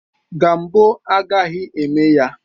Gambo agaghị eme ya